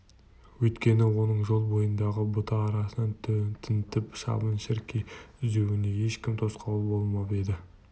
өйткені оның жол бойындағы бұта арасын тінтіп шыбын-шіркей іздеуіне ешкім тосқауыл болмап еді